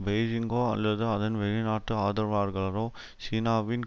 பெய்ஜிங்கோ அல்லது அதன் வெளிநாட்டு ஆதரவாளர்களோ சீனாவின்